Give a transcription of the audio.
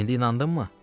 İndi inandınmı?